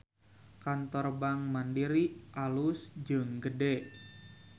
Kantor Bank Mandiri alus jeung gede